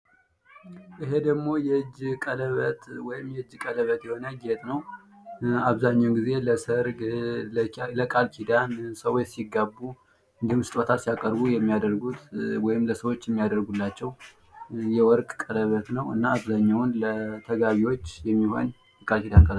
ይሄ ደግሞ የእጅ ቀለበት ወይም የእጅ ቀለበት የሆነ ጌጥ ነው። አብዘሀኛውን ጊዜ ለሰርግ፣ ለቃል ኪዳን ፣ሰዎች ሲጋቡ አና ስጦታ ሲያቀርቡ የሚያደርጉት ወይም ለሰዎች የሚያደርጉላቸው የወርቅ ቀለበት ነው። እና አብዘሀኛውን ለተጋቢዎች የሚሆን የቃልኪዳን ቀለበት ነው።